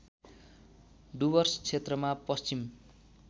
डुवर्स क्षेत्रमा पश्चिम